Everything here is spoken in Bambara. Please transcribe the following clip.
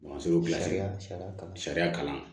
Sariya kalan